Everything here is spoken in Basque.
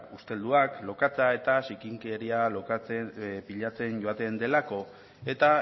ustelduak lokatza eta zikinkeria pilatzen joaten delako eta